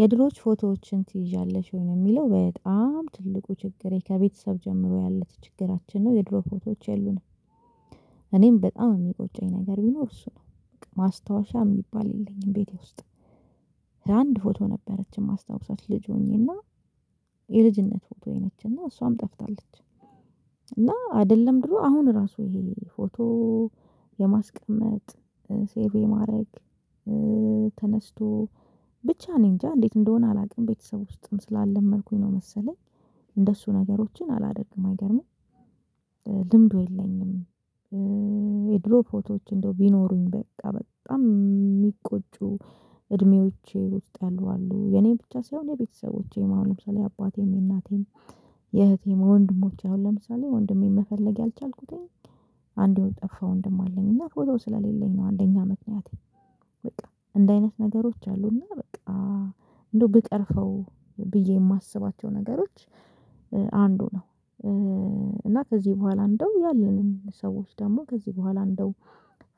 የድሮች ፎቶዎችን ትይዣለሽ ወይ ነው? የሚለው በጣም ትልቁ ችግሬ ከቤተሰብ ጀምሮ ያለ ችግራችን ነው የድሮ ፎቶዎች የሉንም። እኔም በጣም የሚቆጨኝ ነገር ቢኖር እሱ ነው ማስታወሻ የሚባል የለኝም። ቤቴ ውስጥ አንድ ፎቶ ነበረች የማስታውሰት ልጅ ሆኜና የልጅነት ፎቶዬ ነችና እሷም ጠፍታለች። እና አይደለም ድሮ አሁን ራሱ ይሄ ፎቶ የማስቀመጥ ሴቭ የማድረግ ተነስቶ ብቻ እኔ እንጃ እንዴት እንደሆነ አላውቅም። ቤተሰብ ውስጥም ስላልለመድኩኝ ነው መሰለኝ እንደሱ ነገሮችን አላደርግም አይገርምም። ልምዱ የለኝም። የድሮ ፎቶዎች እንደው ቢኖሩኝ በቃ በጣም የሚቆጩ እድሜዎቼ ውስጥ ያሉ አሉ። የኔን ብቻ ሳይሆን የቤተሰቦቼም አሁን ለምሳሌ የአባቴም የእናቴም የእህቴም ወንድሞች አሁን ለምሳሌ ወንድሜን መፈለግ ያልቻልኩትኝ አንድ የጠፋ ወንድም አለኝ እና ፎቶ ስለሌለኝ ነው። አንደኛ አመት ምክንያት በቃ እንዲህ አይነት ነገሮች አሉ። እና በቃ እንደው ብቀርፈው ብዬ የማስባቸው ነገሮች አንዱ ነው። እና ከዚህ በኋላ እንደው ያለንን ሰዎች ደግሞ ከዚህ በኋላ እንደው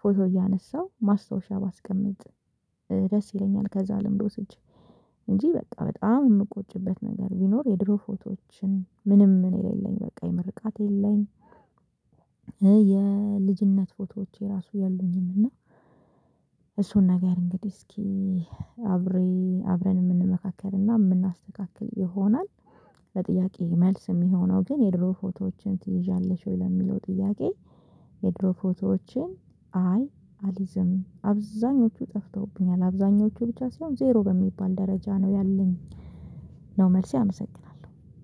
ፎቶ እያነሳው ማስታወሻ ባስቀምጥ ደስ ይለኛል። ከዛ ልምድ ወስጄ እንጂ በቃ በጣም የምቆጭበት ነገር ቢኖር የድሮ ፎቶዎችን ምንም ነው የሌለኝ በቃ የምርቃት የለኝ የልጅነት ፎቶዎቼ ራሱ የለኝም። እና እሱን ነገር እንግዲህ እስኪ አብሬ አብረን የምንመካከር የምናስተካክል ይሆናል። ለጥያቄዬ መልስ የሚሆነው ግን የድሮ ፎቶዎችን ትይዣለሽ ወይ ለሚለው ጥያቄ? የድሮ ፎቶዎችን አይ አልይዝም አብዛኞቹ ጠፍተውብኛል አብዛኞቹ ብቻ ሳይሆን ዜሮ በሚባል ደረጃ ነው ያለኝ ነው መልሴ። አመሰግናለሁ